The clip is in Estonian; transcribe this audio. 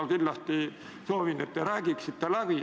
Ma kindlasti soovin, et te räägiksite läbi.